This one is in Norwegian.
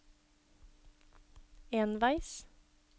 enveis